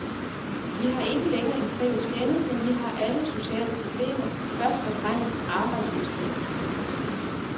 Vi har ikke længere en fælles fjende, men vi har alle sociale problemer, først og fremmest arbejdsløshed.